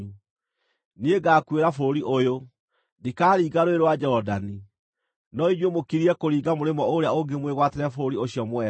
Niĩ ngaakuĩra bũrũri ũyũ; ndikaringa Rũũĩ rwa Jorodani; no inyuĩ mũkirie kũringa mũrĩmo ũrĩa ũngĩ mwĩgwatĩre bũrũri ũcio mwega.